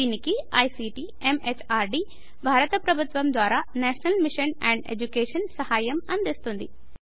దీనికి ICT MHRD భారత ప్రభుత్వము ద్వారా నేషనల్ మిషన్ అండ్ ఎడ్యుకేషన్ సహాయం అందిస్తోంది